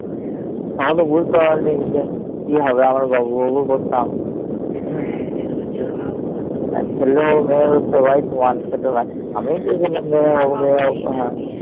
আমি তো বুঝতে পারিনি যে কি হবে আমরা বাবু বাবু করতাম ছেলে হবে মেয়ে হবে সবাই সমান ছিল আমি তো বলতাম মেয়ে হবে মেয়ে হবে